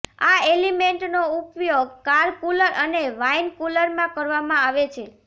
આ એલિમેન્ટનો ઉપયોગ કાર કૂલર અને વાઈન કૂલરમાં કરવામાં આવે છે